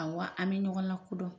Ɔwɔ an bɛ ɲɔgɔn lakodɔn.